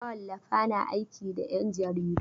Mawallafa na aiki da 'ƴan jaridu.